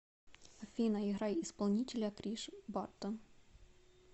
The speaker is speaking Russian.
афина играй исполнителя криш бартон